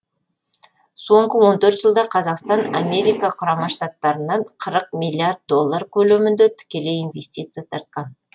соңғы он төрт жылда қазақстан америка құрама штаттарынан қырықмиллиард доллар көлемінде тікелей инвестиция тартқан